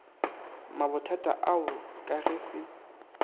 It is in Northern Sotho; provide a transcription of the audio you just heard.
mabothata ao ka ge se